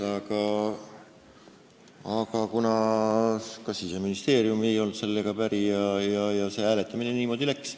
Aga ka Siseministeerium ei olnud sellega päri ja niimoodi see hääletamine läks.